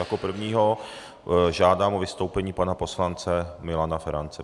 Jako prvního žádám o vystoupení pana poslance Milana Ferance.